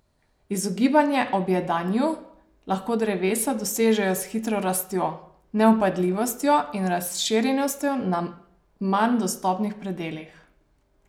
Izogibanje objedanju lahko drevesa dosežejo s hitro rastjo, nevpadljivostjo in razširjenostjo na manj dostopnih predelih.